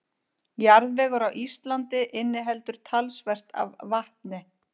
Jarðvegur á Íslandi inniheldur talsvert af vatni.